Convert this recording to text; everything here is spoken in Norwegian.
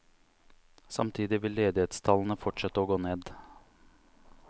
Samtidig vil ledighetstallene fortsette å gå ned.